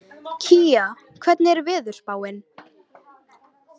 Kía, hvernig er veðurspáin?